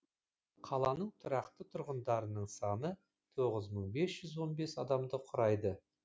қаланың тұрақты тұрғындарының саны тоғыз мың бес жүз он бес адамды құрайды